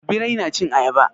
Birai na cin ayaba?